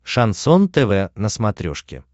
шансон тв на смотрешке